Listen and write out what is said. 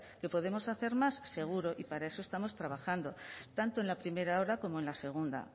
que podemos hacer más seguro y para eso estamos trabajando tanto en la primera hora como en la segunda